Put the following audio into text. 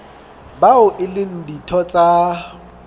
bao e leng ditho tsa